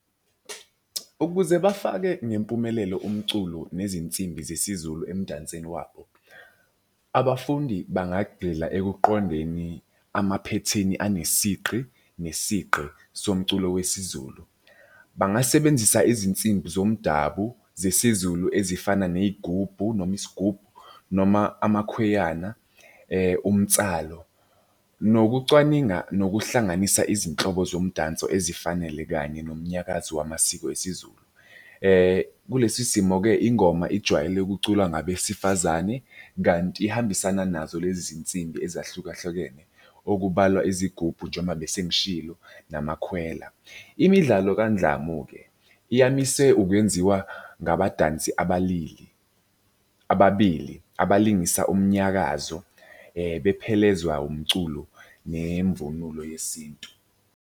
Ukuze bafake ngempumelelo umculo nezinsimbi zesiZulu emdansweni wabo, abafundi bangagxila ekuqondeni amaphethini anesigqi nesigqi somculo wesiZulu. Bangasebenzisa izinsimbi zomdabu zesiZulu ezifana ney'gubhu noma isigubhu noma amakhweyana umtsalo nokucwaninga nokuhlanganisa izinhlobo zomdabu ezifanele kanye nomnyakazo wamasiko esiZulu. Kulesi simo-ke ingoma ijwayele ukuculwa ngabesifazane, kanti ihambisana nazo lezi zinsimbi ezahlukahlukene. Okubalwa izigubhu njengoba bese ngishilo namakhwela. Imidlalo kandlamu-ke iyamiswe ukwenziwa ngabadansi abalili ababili abalingisa umnyakazo bephelezwa umculo nemvunulo yesintu.